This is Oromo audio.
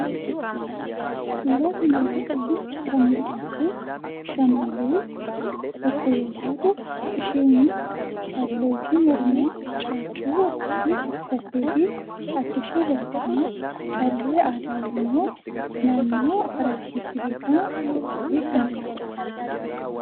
Suuraa kana irrattii kan mul'attu shamarree tokko yoo taatu isheenis kan lootii mormaa, caaccuu uffattee fi adda ishii irratti immoo callee aadaa oromoo naannoo Harargeetti beekamu godhattee kan jirtudha.